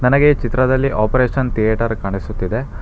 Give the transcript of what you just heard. ನನಗೆ ಚಿತ್ರದಲ್ಲಿ operation theatre ಕಾಣಿಸುತ್ತಿದೆ.